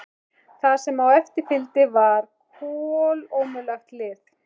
Það sem á eftir fylgdi var kolómögulegt lið.